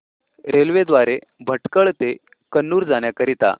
railway द्वारे भटकळ ते कन्नूर जाण्या करीता